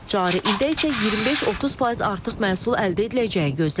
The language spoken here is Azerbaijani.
Cari ildə isə 25-30% artıq məhsul əldə ediləcəyi gözlənilir.